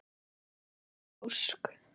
Lydia Ósk.